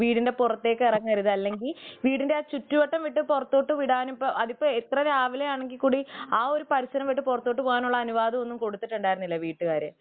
വീടിന്റെ പുറത്തേക്ക് ഇറങ്ങരുത് അല്ലെങ്കിൽ വീടിന്റെ ആ ചുറ്റുവട്ടം വിട്ട് പുറത്തേക്ക് വിടാൻ അതിപ്പോൾ ഏത്ര രാവിലെയാണെങ്കിൽ കൂടി ആ പരിസരം വിട്ടു പുറത്തോട്ട് പോവാനുള്ള അവനുവാദം കൊടുത്തിട്ടുണ്ടായിരുന്നില്ല വീട്ടുകാര്